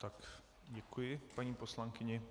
Tak děkuji paní poslankyni.